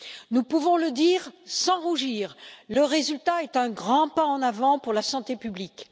Nous pouvons le dire sans rougir, le résultat est un grand pas en avant pour la santé publique.